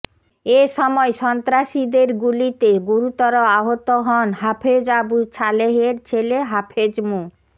এ সময় সন্ত্রাসীদের গুলিতে গুরুতর আহত হন হাফেজ আবু ছালেহের ছেলে হাফেজ মো